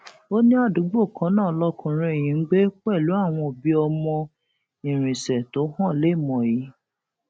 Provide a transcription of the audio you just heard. ó ní àdúgbò kan náà lọkùnrin yìí ń gbé pẹlú àwọn òbí ọmọ irinṣẹ tó hàn léèmọ yìí